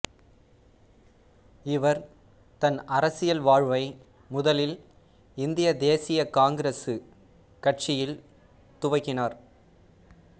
இவர் தன் அரசியல் வாழ்வை முதலில் இந்திய தேசிய காங்கிரசு கட்சியில் துவக்கினார்